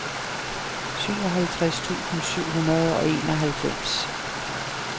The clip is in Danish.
syvoghalvtreds tusind syv hundrede og enoghalvfems